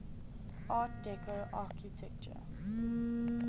art deco architecture